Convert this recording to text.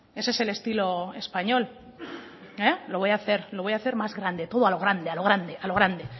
ese es el estilo español lo voy hacer más grande todo a lo grande a lo grande a lo grande